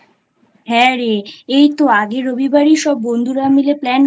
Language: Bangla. হ্যাঁ রে এই তো আগের রবিবারই সববন্ধুরা মিলে Plan